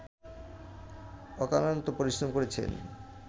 অক্লান্ত পরিশ্রম করেছে